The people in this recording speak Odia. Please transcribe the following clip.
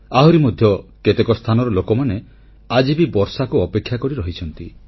ଆହୁରି ମଧ୍ୟ କେତେକ ସ୍ଥାନର ଲୋକମାନେ ଆଜି ବି ବର୍ଷାକୁ ଅପେକ୍ଷା କରି ରହିଛନ୍ତି